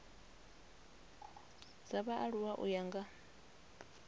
dza vhaaluwa u ya nga